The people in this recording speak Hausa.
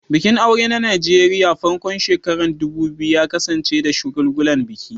Bikin aure a Najeriya a farkon shekarun 2000 ya kasance da shagulgulan biki.